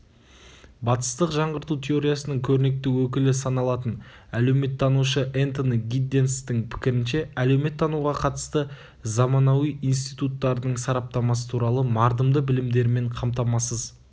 батыстық жаңғырту теориясының көрнекті өкілі саналатын әлеуметтанушы энтони гидденстің пікірінше әлеуметтануға қатысты заманауи институттардың сараптамасы туралы мардымды білімдермен қамтамасыз